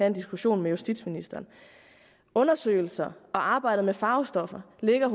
en diskussion med justitsministeren undersøgelser og arbejdet med farvestoffer ligger